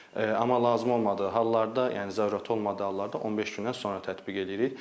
Amma lazım olmadığı hallarda, yəni zərurəti olmadığı hallarda 15 gündən sonra tətbiq eləyirik.